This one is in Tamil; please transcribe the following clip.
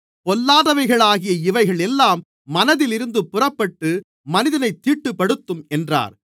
பொல்லாதவைகளாகிய இவைகள் எல்லாம் மனதிலிருந்து புறப்பட்டு மனிதனைத் தீட்டுப்படுத்தும் என்றார்